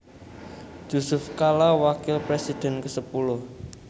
Jusuf Kalla Wakil Presiden kesepuluh